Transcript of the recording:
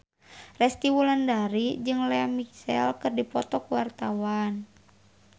Resty Wulandari jeung Lea Michele keur dipoto ku wartawan